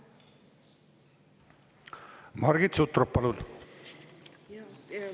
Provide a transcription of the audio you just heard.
Margit Sutrop, palun!